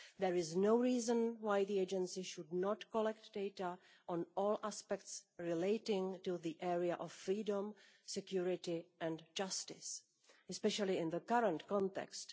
There is no reason why the Agency should not collect data on all aspects relating to the area of freedom, security and justice, especially in the current context.